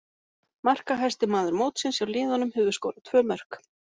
Markahæsti maður mótsins hjá liðunum hefur skorað tvö mörk.